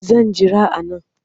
Zan jira a nan